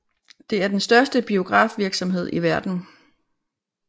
Det er den største biografvirksomhed i verden